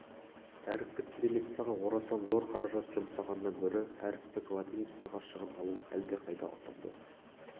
әріптік кириллицаға орасан зор қаражат жұмсағаннан гөрі әріптік латиницаға шығындалу әлдеқайда ұтымды